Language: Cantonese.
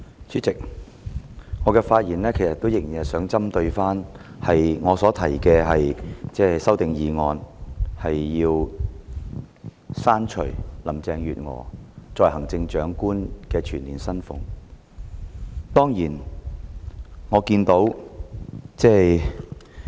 主席，我仍然想針對我提出的修正案發言，削減林鄭月娥作為行政長官的全年薪酬開支。